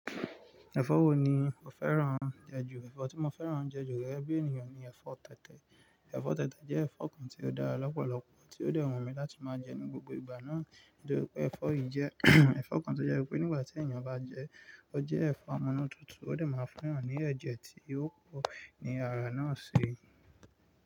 Ẹ̀fọ́ wo ni o fẹ́ràn jẹ ju? Ẹ̀fọ́ tí mo fẹ́ràn jẹ ju gege bí ènìyàn ni ẹ̀fọ́ tẹ̀tẹ̀. Ẹ̀fọ́ tẹ̀tẹ̀ jẹ́ ẹ̀fọ́ kan tí ó dára lọ́pọ̀lọpọ̀ tí ó dẹ́ wu mi láti máa jẹ ní gbogbo ìgbà náà. Nítorí pé ẹ̀fọ́ yìí jẹ́ ẹ̀fọ́ kan tó jẹ́ wípé nígbà tí ènìyàn bá jẹ ẹ́, ó jẹ́ ẹ̀fọ́ amunu tútù ó dẹ̀ máa fún eeyan ní ẹ̀jẹ̀ tí ò pò ni ara náà ṣi.